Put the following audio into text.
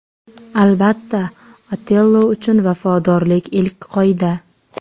Albatta, Otello uchun vafodorlik – ilk qoida.